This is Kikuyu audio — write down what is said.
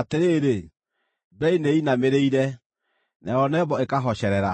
Atĩrĩrĩ, Beli nĩĩinamĩrĩire, nayo Nebo ĩkahocerera;